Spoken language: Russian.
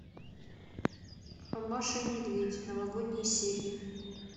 маша и медведь новогодние серии